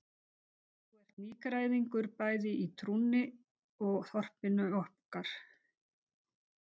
Þú ert nýgræðingur bæði í trúnni og þorpinu okkar.